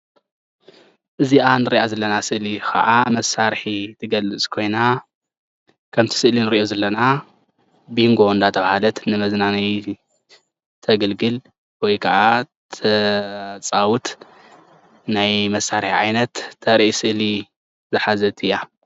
እዚኣ እንሪኦ ዘለና ስእሊ ከዓ መሳርሒ እትገልፅ ኮይና ከምቲ ስእሊ እንሪኦ ዘለና ቢንጎ እንዳተባሃለት ንመዝናነዪ እተገልግል ወይ ከዓ እተፃውት ናይ መሳርሒ ዓይነት እተርኢ እስሊ ዝሓዘት እያ፡፡